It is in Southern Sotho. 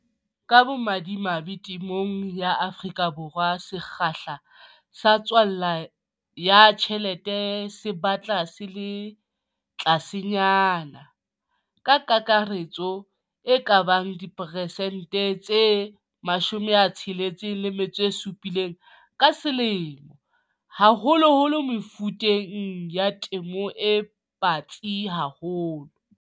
Ka bomadimabe, temong ya Afrika Borwa sekgahla sa tswala ya tjhelete se batla se le tlasenyana - ka kakaretso e ka ba diperesente tse 6 le 7 ka selemo, haholoholo mefuteng ya temo e batsi haholo.